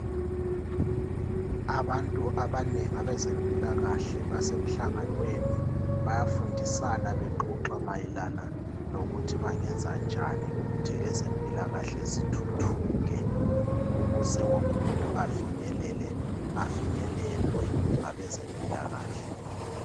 abantu abanengi abezempilakahle basemhlanganweni bayafundisana bexoxa mayelana lokuthi bengenza njani ukuthi ezempilakahle zithuthuke ukuze wonke umuntu afinyelele afinyelelwe ngabezempilakahle